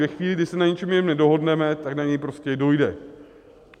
Ve chvíli, kdy se na něčem jiném nedohodneme, tak na něj prostě dojde.